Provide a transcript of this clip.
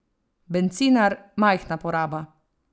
Bencinar, majhna poraba.